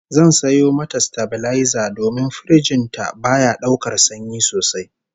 Zan sayo mata sitabilaiza domin firiji din ta baya daukar sanyi sosai